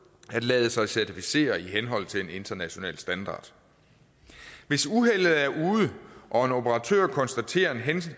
at lade sig certificere i henhold til en international standard hvis uheldet er ude og en operatør konstaterer en hændelse